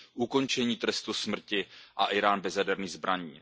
ukončení trestu smrti a Írán bez jaderných zbraní.